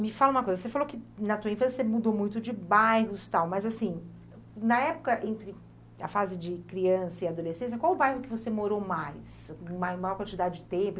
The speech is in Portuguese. Me fala uma coisa, você falou que na tua infância você mudou muito de bairros e tal, mas assim, na época, entre a fase de criança e adolescência, qual o bairro que você morou mais, com ma maior quantidade de tempo?